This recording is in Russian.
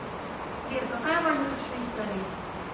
сбер какая валюта в швейцарии